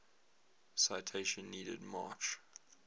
citation needed march